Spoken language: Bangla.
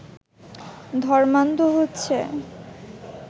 ধর্মান্ধ হচ্ছে